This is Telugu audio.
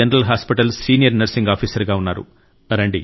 జనరల్ హాస్పిటల్లో సీనియర్ నర్సింగ్ ఆఫీసర్ గా ఉన్నారు